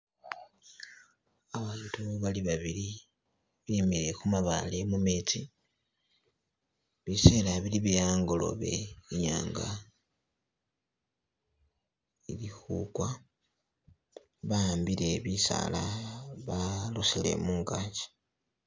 Abantu bali babili bimile khumabaale mumetsi bisela bili byehangolobe inyanga ili khugwa bahambile bisaala balosele mungagi.